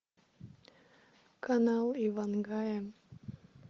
канал иван гая